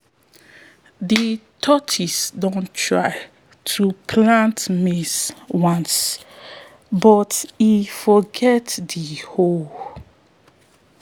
de tortoise don try to plant maize once for sky but e forget de hoe